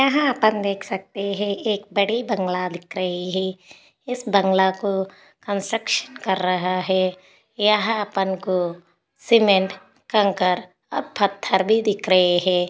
यहा देख सकते है एक बड़ी बंगला दिख रही है इस बंगला को कन्स्ट्रकशन कर रहा है यहाँ अपन को सीमेंट कंकर पत्थर भी दिख रहे है।